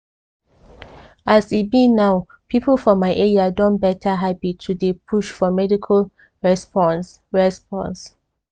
as e be now people for my area don better habit to dey push for quick medical response. response.